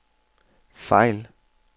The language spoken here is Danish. fejl